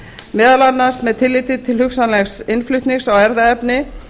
meðal annars með tilliti til hugsanlegs innflutnings á erfðaefni